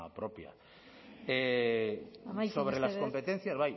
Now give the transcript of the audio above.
propia amaitu mesedez sobre las competencias